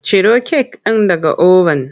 Ciro kek ɗin daga oven!